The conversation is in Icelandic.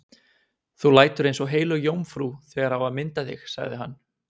Þú lætur eins og heilög jómfrú þegar á að mynda þig, sagði hann.